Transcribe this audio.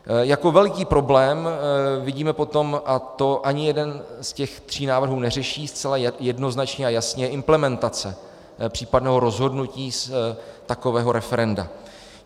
Jako veliký problém vidíme potom, a to ani jeden z těch tří návrhů neřeší zcela jednoznačně a jasně, je implementace případného rozhodnutí z takového referenda.